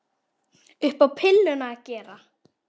Upp á pilluna að gera.